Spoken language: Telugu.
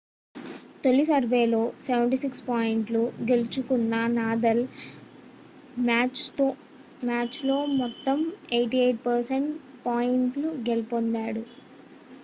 తొలి సెర్వ్లో 76 పాయింట్లు గెలుచుకున్న నాదల్ మ్యాచ్లో మొత్తం 88% పాయింట్లు గెలుపొందాడు